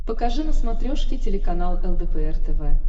покажи на смотрешке телеканал лдпр тв